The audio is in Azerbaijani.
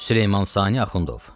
Süleyman Sani Axundov.